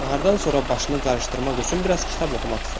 Nahardan sonra başını qarışdırmaq üçün biraz kitab oxumaq istədi.